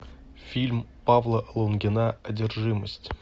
фильм павла лунгина одержимость